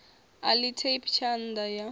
a ḽi tape thanda ya